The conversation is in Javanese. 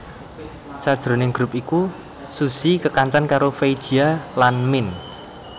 Sajroning grup iku Suzy kekancanan karo Fei Jia lan Min